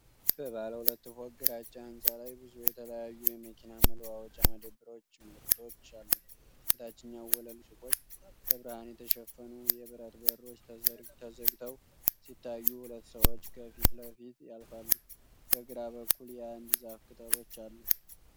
በባለ ሁለት ፎቅ ግራጫ ሕንፃ ላይ ብዙ የተለያዩ የመኪና መለዋወጫ መደብሮች ምልክቶች አሉ። የታችኛው ወለል ሱቆች በብርሃን የተሸፈኑ የብረት በሮች ተዘግተው ሲታዩ ሁለት ሰዎች ከፊት ለፊቱ ያልፋሉ። በግራ በኩል የአንድ ዛፍ ቅጠሎች አሉ።